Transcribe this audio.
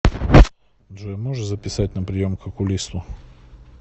джой можешь записать на прием к окулисту